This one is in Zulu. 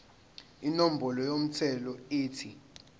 inombolo yomthelo ethi